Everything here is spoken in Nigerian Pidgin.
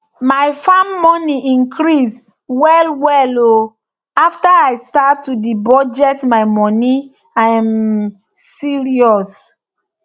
my farm money increase well well o after i start to dey budget my moni um serious